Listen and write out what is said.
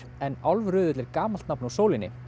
en Álfröðull er gamalt nafn á sólinni